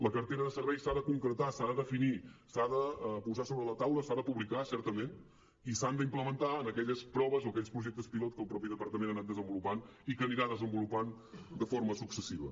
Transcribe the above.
la cartera de serveis s’ha de concretar s’ha de definir s’ha de posar sobre la taula s’ha de publicar certament i s’ha d’implementar en aquelles proves o aquells projectes pilot que el mateix departament ha anat desenvolupant i que anirà desenvolupant de forma successiva